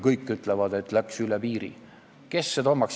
Kõik ütlevad, et läks üle piiri.